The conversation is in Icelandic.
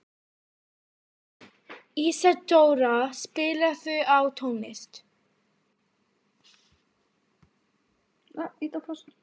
Ísadóra, spilaðu tónlist.